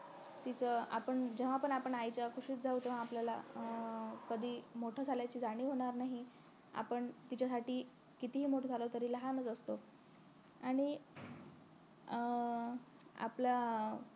तीच आपण जेव्हा पण आपण आईच्या कुशीत जाऊ तेव्हा आपल्याला अं कधी मोठं झाल्याची जाणीव होणार नाही आपण तिच्यासाठी कितीही मोठं झालं तरी लहानच असतो आणि अं आपलं